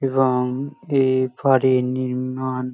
এবং এই ফ্ল্যাট -এর নির্মাণ--